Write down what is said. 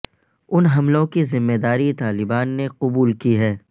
ان حملوں کی ذمہ داری طالبان نے قبول کی ہے